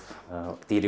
dýr í